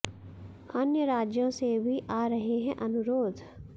अन्य राज्यों से भी आ रहे हैं अनुरोध